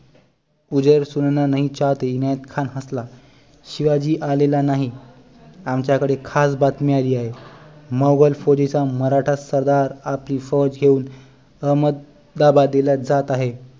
सुनाना नाही चाहते इनायत खान हसला शिवाजी आलेला नाही आमच्या कडे खास बातमी आली आहे मौघाल फौजेचा मराठा सरदार आपली फौज घेऊन अहमंदाबादेला जात आहे